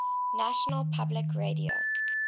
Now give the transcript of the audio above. national public radio